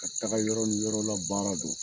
Ka taga yɔrɔ ni yɔrɔla baara don